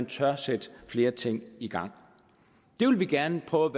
tør sætte flere ting i gang vi vil gerne prøve